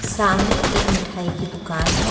सामने एक मिठाई की दुकान है।